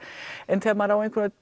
en þegar maður